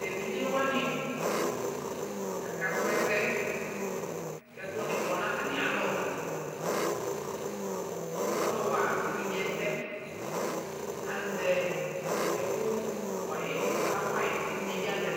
Teviɖʒewani aka srɔ ɛsɛ kikʋ ni kɔ natamialɔ Ɔluwa eviɖʒee ɛsɛaƶɛ ɛku wayiyɛ kɔka wayi